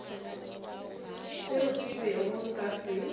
seo ke bego nka se